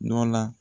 Nɔ la